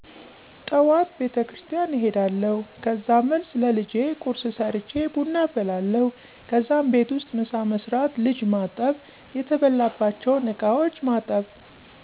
ጠዋት ቤቴክርስትያን እሄዳለሁ ከዛ መልስ ለልጀ ቁርስ ሰርቼ ቡና አፈላለሁ ከዛም ቤት ውስጥ ምሳ መስራት ልጅ ማጠብ የተበላባቸውን እቃዎች ማጠብ